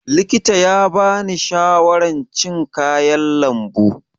Likita ya bani shawaran cin kayan lambu.